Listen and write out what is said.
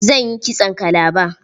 Zan yi kitson kalaba.